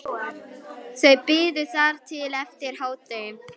Þau biðu þar til eftir hádegi.